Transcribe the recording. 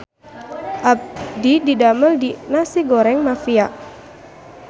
Abdi didamel di Nasi Goreng Mafia